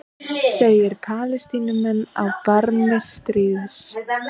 Segir Palestínumenn á barmi stríðs